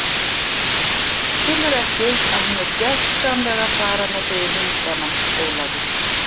Skilurðu ekki að hún er gjörsamlega að fara með þig í hundana, Ólafur?